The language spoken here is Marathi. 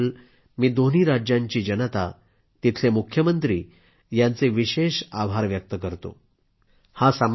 या कराराबद्दल मी दोन्ही राज्यांची जनता तिथले मुख्यमंत्री यांचे विशेष आभार व्यक्त करतो